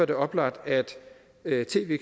det oplagt at tv